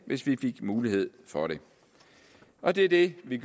hvis vi fik mulighed for det og det er det vi